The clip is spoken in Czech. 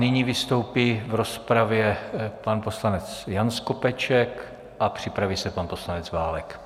Nyní vystoupí v rozpravě pan poslanec Jan Skopeček a připraví se pan poslanec Válek.